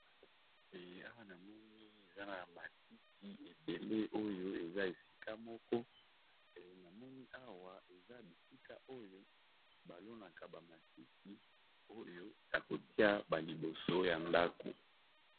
Eh awa na moni eza na matiti ebele oyo eza esika moko, e namoni awa eza bisika oyo ba lonaka ba matiti oyo ya kotia ba liboso ya ndako.